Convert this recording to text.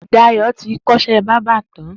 Dayo ti kọ iṣẹ̀ bàbà tán